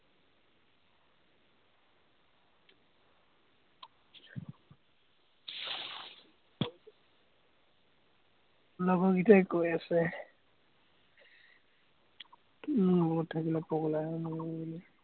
লগৰ কেইটাই কৈ আছে। মোৰ লগত থাকিলে পগলা হৈ মৰিবি বুলি।